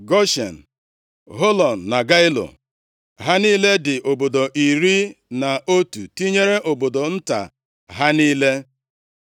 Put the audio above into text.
Goshen, Họlọn na Gailo, ha niile dị obodo iri na otu tinyere obodo nta ha niile.